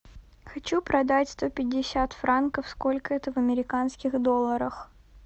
хочу продать сто пятьдесят франков сколько это в американских долларах